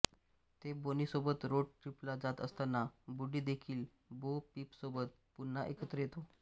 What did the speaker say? ते बोनीसोबत रोड ट्रिपला जात असताना वुडी देखील बो पीपसोबत पुन्हा एकत्र येतो